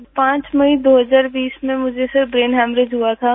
प्रगति sir 5 मई 2020 में मुझे सर ब्रेन हेमोरेज हुआ था